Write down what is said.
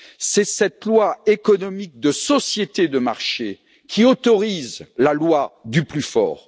C'est cette loi économique de société de marché qui autorise la loi du plus fort.